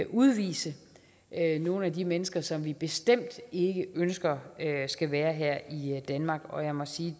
udvise nogle af de mennesker som vi bestemt ikke ønsker skal være her i danmark og jeg må sige